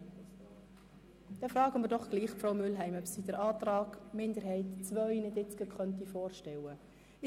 Wir fragen nun doch Frau Mühlheim, ob sie den Antrag der Kommissionsminderheit II vorstellen könnte.